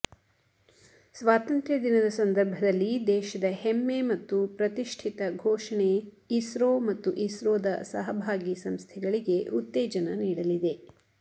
ಸ್ವಾತಂತ್ರ್ಯ ದಿನದ ಸಂದರ್ಭದಲ್ಲಿ ದೇಶದ ಹೆಮ್ಮೆ ಮತ್ತು ಪ್ರತಿಷ್ಠಿತ ಘೋಷಣೆ ಇಸ್ರೋ ಮತ್ತು ಇಸ್ರೋದ ಸಹಭಾಗಿ ಸಂಸ್ಥೆಗಳಿಗೆ ಉತ್ತೇಜನ ನೀಡಲಿದೆ